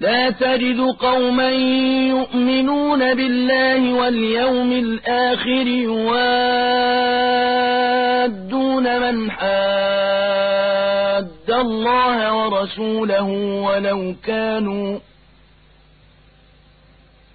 لَّا تَجِدُ قَوْمًا يُؤْمِنُونَ بِاللَّهِ وَالْيَوْمِ الْآخِرِ يُوَادُّونَ مَنْ حَادَّ اللَّهَ وَرَسُولَهُ